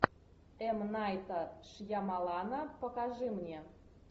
м найта шьямалана покажи мне